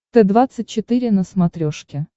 т двадцать четыре на смотрешке